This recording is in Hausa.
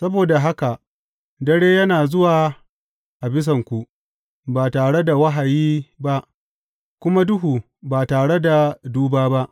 Saboda haka dare yana zuwa a bisanku, ba tare da wahayi ba, kuma duhu, ba tare da duba ba.